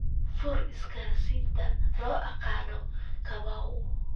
fur isgaarsiinta loo yaqaano kamau